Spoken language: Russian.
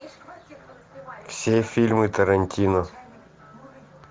все фильмы тарантино